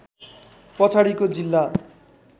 पछाडिको जिल्ला